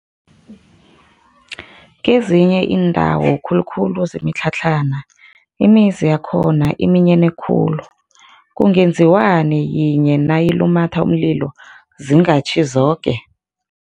Kezinye iindawo khulukhulu zemitlhatlhana, imizi yakhona iminyene khulu, kungenziwani yinye nayilumatha umlilo zingatjhi zoke?